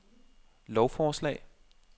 lovforslag